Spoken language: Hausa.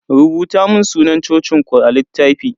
Rubuta mun sunan cocin ku a littafi.